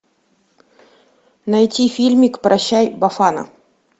найти фильмик прощай бафана